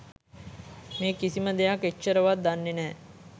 මේ කිසිම දෙයක් එච්චරවත් දන්නෙ නෑ.